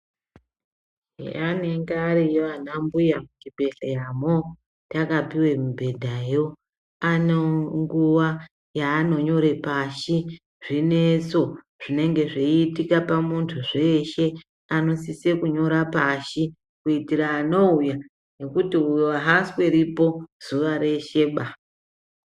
Eyaa anenge ariyo ana mbuya muchibhendleya mwo takapuwa mibhedhayo. Ane nguwa yaanonyora pashi zvinetso zvinenge zveitika pamuntu zveshe. Anosisa kunyora pashi kuitira anouya ngekuti uyu aasweripo zuwa resheba.